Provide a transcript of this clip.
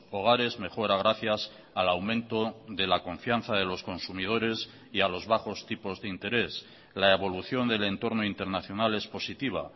hogares mejora gracias al aumento de la confianza de los consumidores y a los bajos tipos de interés la evolución del entorno internacional es positiva